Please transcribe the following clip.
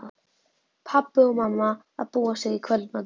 Pabbi og mamma að búa sig í kvöldmatinn.